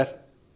లేదు సర్